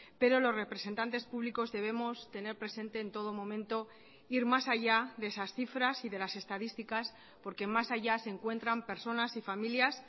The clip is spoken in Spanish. pero los representantes públicos debemos tener presente en todo momento ir más allá de esas cifras y de las estadísticas porque más allá se encuentran personas y familias